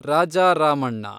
Raja Ramanna